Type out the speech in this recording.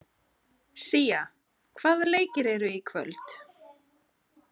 Sía, hvaða leikir eru í kvöld?